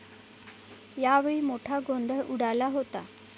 यावेळी मोठा गोंधळ उडाला होता.